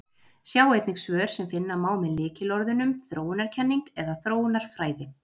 Sjá einnig svör sem finna má með lykilorðunum þróunarkenning eða þróunarfræði.